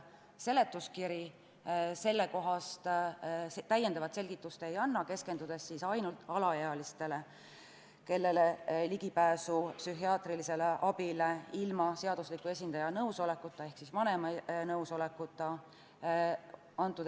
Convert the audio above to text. Seletuskiri selle kohta täiendavat selgitust ei anna, keskendudes ainult alaealistele, kellele selle eelnõuga lubatakse ligipääs psühhiaatrilisele abile ilma seadusliku esindaja ehk vanema nõusolekuta.